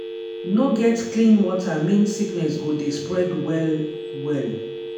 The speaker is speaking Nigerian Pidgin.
no get clean water mean sickness go dey spread well-well.